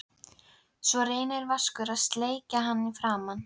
Svo reynir Vaskur að sleikja hann í framan.